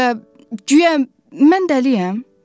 Guya, guya mən dəliyəm?